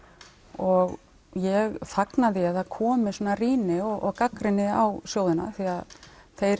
og ég fagna því að það komi svona rýni og gagnrýni á sjóðina því þeir